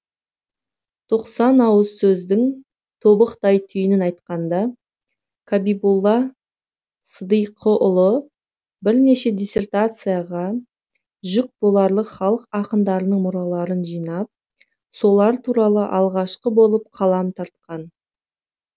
тоқсан ауыз сөздің тобықтай түйінін айтқан да қабиболла сыдиықұлы бірнеше диссертацияға жүк боларлық халық ақындарының мұраларын жинап солар туралы алғашқы болып қалам тартқан